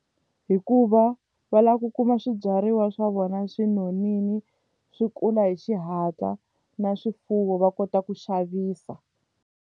Hikuva va lava ku kuma swibyariwa swa vona swi nonile swi kula hi xihatla na swifuwo va kota ku xavisa.